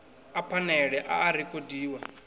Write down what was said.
a phanele a a rekhodiwa